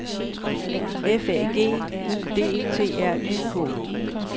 F A G U D T R Y K